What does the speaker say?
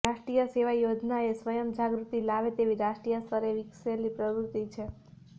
રાષ્ટ્રીય સેવા યોજના એ સ્વયં જાગૃતિ લાવે તેવી રાષ્ટ્રીય સ્તરે વિકસેલી પ્રવૃત્તિ છે